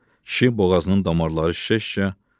Kişi boğazının damarları şişə-şişə bura bax dedi.